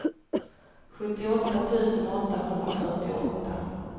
sjuttioåtta tusen åttahundrafyrtioåtta